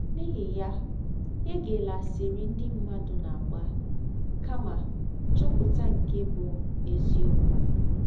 N’ihi ya, egela asịrị ndị mmadụ na - agba, kama chọpụta nke bụ́ eziọkwụ.